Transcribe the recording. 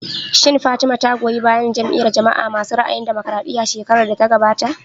Shin Fatima ta goyi bayan Jam'iyar jama'a masu ra'ayin damokaraɗiya shekarar da ta gabata?